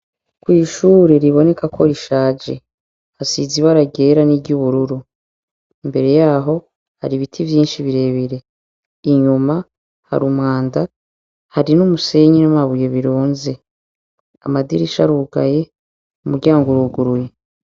Kw'ishuri ribonekako rishaje, hasize irangi ryera n'iry'ubururu. Imbere yaho, hari ibiti vyinshi birebire. Inyuma hari umwanda. Hari n'umusenyi n'amabuye birunze. Amadirisha arugaye, umuryango uruguruye.